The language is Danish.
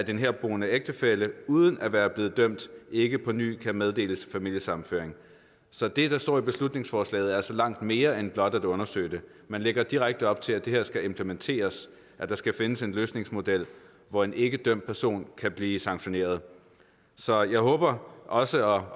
herboende ægtefælle uden at være blevet dømt ikke på ny kan meddeles familiesammenføring så det der står i beslutningsforslaget er altså langt mere end blot at undersøge det man lægger direkte op til at det her skal implementeres at der skal findes en løsningsmodel hvor en ikkedømt person kan blive sanktioneret så jeg håber også